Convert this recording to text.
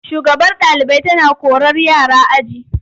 Shugabar ɗalibai tana korar yara aji.